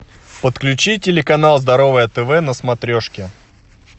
подключи телеканал здоровое тв на смотрешке